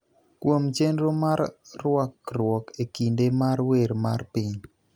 kuom chenro mar rwakruok e kinde mar wer mar piny